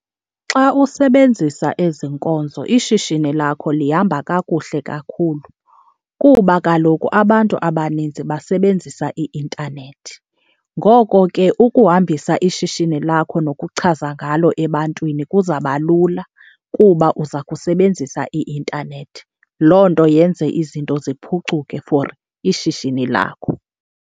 Xa usebenzisa ezi nkonzo ishishini lakho lihamba kakuhle kakhulu kuba kaloku abantu abaninzi basebenzisa i-intanethi. Ngoko ke ukuhambisa ishishini lakho nokuchaza ngalo ebantwini kuzabalula kuba uza kusebenzisa i-intanethi, loo nto yenze izinto ziphucuke for ishishini lakho.